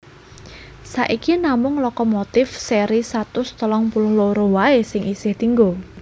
Saiki namung lokomotif séri satus telung puluh loro waé sing isih dienggo